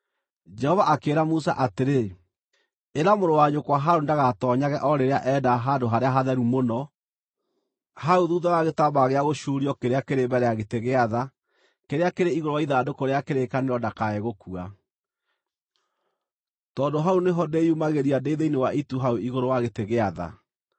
Jehova akĩĩra Musa atĩrĩ: “Ĩra mũrũ wa nyũkwa Harũni ndagatoonyage o rĩrĩa enda Handũ-harĩa-Hatheru-Mũno, hau thuutha wa gĩtambaya gĩa gũcuuria kĩrĩa kĩrĩ mbere ya gĩtĩ gĩa tha kĩrĩa kĩrĩ igũrũ wa ithandũkũ rĩa kĩrĩkanĩro ndakae gũkua, tondũ hau nĩho ndĩyumagĩria ndĩ thĩinĩ wa itu hau igũrũ wa gĩtĩ gĩa tha.